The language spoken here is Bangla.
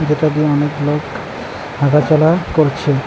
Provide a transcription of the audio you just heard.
এটা দিয়ে অনেক লোক হাঁটাচলা করছেন।